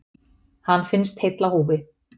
Hann finnst heill á húfi.